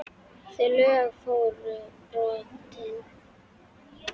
Þau lög voru brotin.